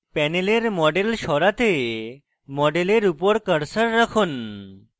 panel model সরাতে model উপর cursor রাখুন